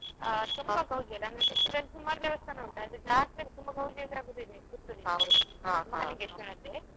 ನಮ್ಗೆ ಇಲ್ಲಿ Puttur ರಿದ್ದು ಹಾಗೆ ತುಂಬಾ ಗೌಜಿ ಇಲ್ಲಿ ಸುಮಾರ್ ದೇವಸ್ಥಾನ ಉಂಟು ಜಾತ್ರೆ ತುಂಬಾ ಅದು ನಮ್ದು ಅದೇ Mahalingeshwara ಅದ್ದೆ.